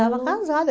Estava casada.